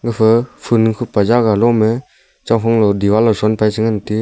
gafa ful khupa jagah loma a diwar low che ngan te--